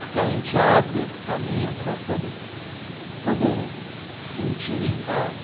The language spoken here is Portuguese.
Porque a gente abre esse caminho para todos poderem sentir em casa.